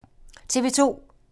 TV 2